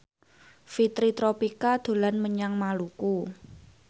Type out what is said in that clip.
Fitri Tropika dolan menyang Maluku